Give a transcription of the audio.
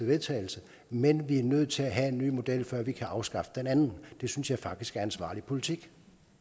vedtagelse men vi er nødt til at have en ny model før vi kan afskaffe den anden det synes jeg faktisk er ansvarlig politik